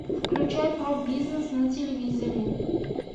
включай про бизнес на телевизоре